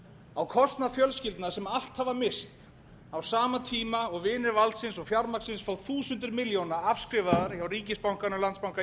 á kostnað fjölskyldna sem allt hafa misst á sama tíma og vinir valdsins og fjármagnsins fá þúsundir milljóna afskrifaðar hjá ríkisbankanum landsbanka